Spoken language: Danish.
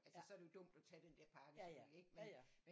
Altså så er det jo dumt at tage den der pakke selvfølgelig ikke